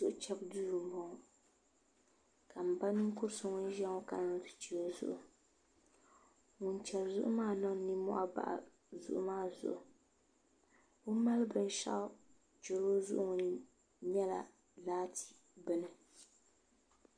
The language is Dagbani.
Chɛbu duu n boŋo ka n ba ninkuri so ŋun ʒiya ŋo kana ni o ti chɛ o zuɣu ŋun chɛri zuɣu maa niŋ nimmohi bahi zuɣu maa zuɣu o ni mali binshaɣu chɛri o zuɣu maa nyɛla laati bini